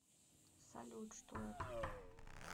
салют что это